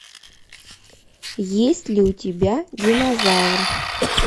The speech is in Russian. есть ли у тебя динозавр